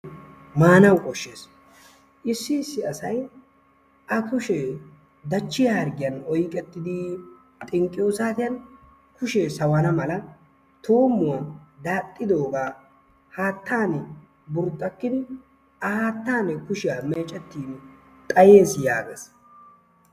Maanawu koshshes. Issi issi asay a kushee dachchiya harggiyan oyiqetidii xinqqiyoo saatiyan sawana mala tuummuwa daaxxidoogaa haattaani burxakkidi a haattan kushiya meecettiin xayes yaages.